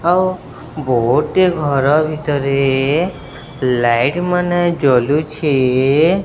ଆଉ ଘର ଭିତରେ ଏ ଲାଇଟ୍ ମାନ ଜଳୁଛେ ।